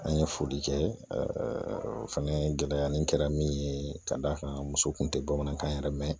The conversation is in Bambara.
An ye foli kɛ o fana gɛlɛya nin kɛra min ye ka d'a kan muso kun tɛ bamanankan yɛrɛ mɛn